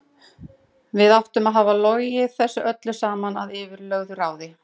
Við áttum að hafa logið þessu öllu saman að yfirlögðu ráði.